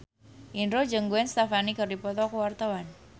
Indro jeung Gwen Stefani keur dipoto ku wartawan